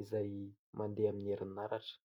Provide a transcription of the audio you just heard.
izay mandeha amin'ny herinaratra.